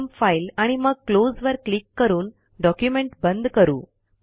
प्रथम फाइल आणि मग क्लोज वर क्लिक करून डॉक्युमेंट बंद करू